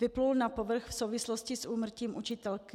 Vyplul na povrch v souvislosti s úmrtím učitelky.